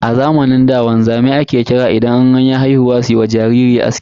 A zamanin da chan wanzamai ake kira idan anyi haihuwa suyiwa jariri aski.